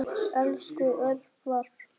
Elsku Örvar.